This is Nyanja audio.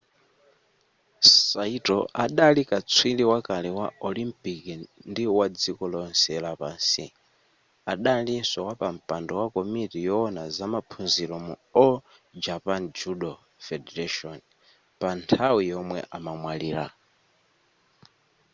saito adali katswiri wakale wa olimpiki ndi wadziko lonse lapansi adalinso wapampando wa komiti yowona zamaphunziro mu all japan judo federation pa nthawi yomwe amamwalira